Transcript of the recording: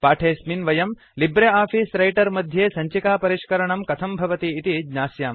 पाठेऽस्मिन् वयं LibreOffice Writer मध्ये सञ्चिकापरिष्करणं कथं भवति इति ज्ञास्यामः